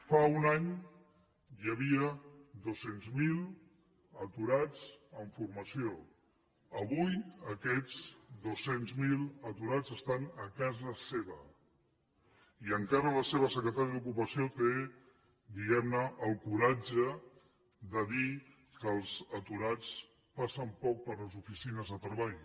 fa un any hi havia dos cents miler aturats en formació avui aquests dos cents miler aturats estan a casa seva i encara la seva secretària d’ocupació té diguem ne el coratge de dir que els aturats passen poc per les oficines de treball